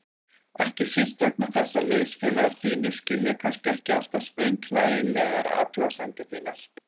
Ekki síst vegna þess að liðsfélagar þínir skilja kannski ekki alltaf sprenghlægilegar athugasemdir þínar.